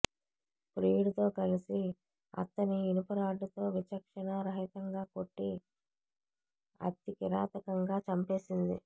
ప్రియుడితో కలసి అత్తని ఇనుప రాడ్డుతో విచక్షణా రహితంగా కొట్టి అతి కిరాతకంగా చంపేసింది